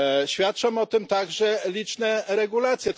Świadczą o tym także liczne regulacje.